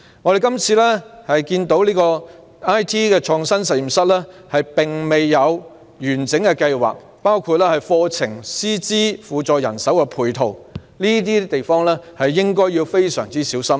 我們看到"中學 IT 創新實驗室"未有完整計劃，包括課程、師資和輔助人手的配套，在這些方面均應非常小心。